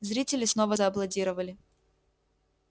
зрители снова зааплодировали